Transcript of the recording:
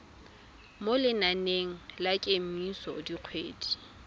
mo lenaneng la kemiso dikgwedi